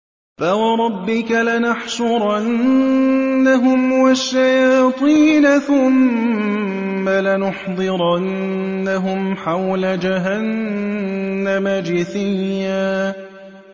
فَوَرَبِّكَ لَنَحْشُرَنَّهُمْ وَالشَّيَاطِينَ ثُمَّ لَنُحْضِرَنَّهُمْ حَوْلَ جَهَنَّمَ جِثِيًّا